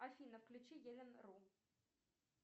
афина включи елен ру